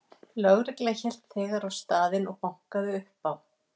Lögreglan hélt þegar á staðinn og bankaði upp á.